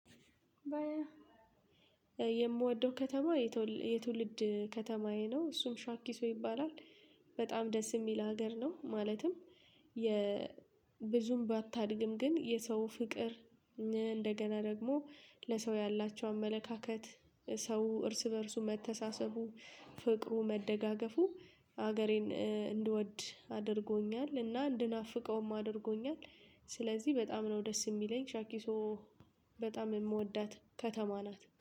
ባየ የምወደው ከተማ የትውልድ ከተማዬ ነው እሱም ሻኪሶ ይባላል በጣም ደስ የሚል ሀገር ነው። ማለትም የ ብዙም ባታድግም ግን የሰው ፍቅር እንደገና ደግሞ ለሰው ያላቸው አመለካከት ሰው እርስ በእርሱ መተሳሰቡ ፍቅሩ መደጋገፉ ሀገሬን እንድወድ አድርጎኛል እና እንድናፍቀውም አድርጎኛል። ስለዚህ በጣም ነው ደስ የሚለኝ ሻኪሶ በጣም የምወዳት ከተማ ናት